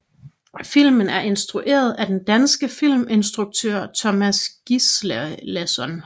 Filmen er instrueret af den danske filminstruktør Tomas Gislason